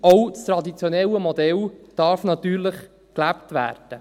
Auch das traditionelle Modell darf natürlich gelebt werden.